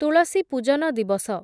ତୁଳସୀ ପୂଜନ ଦିବସ